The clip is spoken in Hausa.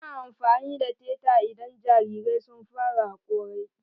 Ana amfani da teta idan jarirai sun fara hakorai.